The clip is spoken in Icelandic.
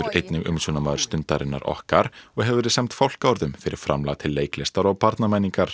einnig umsjónarmaður Stundarinnar okkar og hefur verið sæmd fálkaorðu fyrir framlag til leiklistar og barnamenningar